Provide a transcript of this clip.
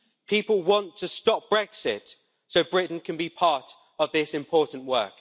People want to stop Brexit so Britain can be part of this important work.